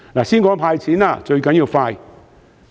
先談"派錢"，最重要是快。